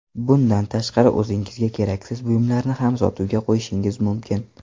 Bundan tashqari, o‘zingizga keraksiz buyumlarni ham sotuvga qo‘yishingiz mumkin.